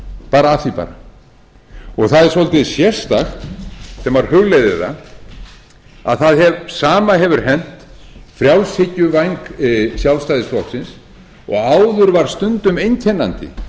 bara af því bara og það er svolítið sérstakt þegar maður hugleiðir að það sama hefur hent frjálshyggjuvæng sjálfstæðisflokksins og áður var stundum einkennandi